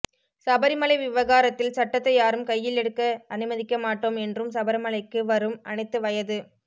சபரிமலை விவகாரத்தில் சட்டத்தை யாரும் கையில் எடுக்க அனுமதிக்கமாட்டோம் என்றும் சபரிமலைக்கு வரும் அனைத்து வயது